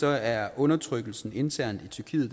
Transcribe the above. er undertrykkelsen internt i tyrkiet